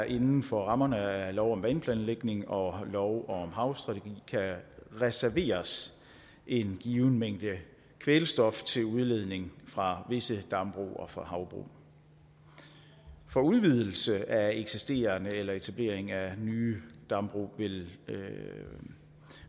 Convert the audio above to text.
inden for rammerne af lov om vandplanlægning og lov om havstrategi kan reserveres en given mængde kvælstof til udledning fra visse dambrug og fra havbrug for udvidelse af eksisterende eller etablering af nye dambrug